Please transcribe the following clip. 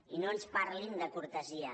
i no ens parlin de cortesia